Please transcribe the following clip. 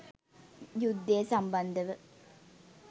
යුද්ධය සම්බන්ධව